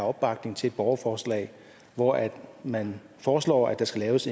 opbakning til et borgerforslag hvori man foreslår at der skal laves